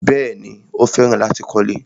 Bẹ́ẹ̀ni, Ó fẹ́ràn láti kọ́lẹ́.